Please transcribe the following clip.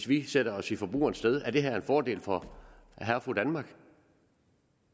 vi sætter os i forbrugerens sted er det her er en fordel for herre og fru danmark